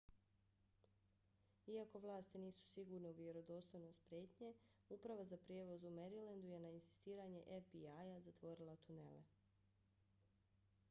iako vlasti nisu sigurne u vjerodostojnost prijetnje uprava za prijevoz u marylandu je na insistiranje fbi-a zatvorila tunele